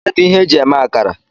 Kedu ihe eji eme akara?